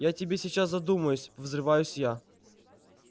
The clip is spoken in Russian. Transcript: я тебе сейчас задумаюсь взрываюсь я